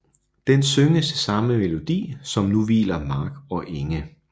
Den synges til samme melodi som Nu hviler Mark og Enge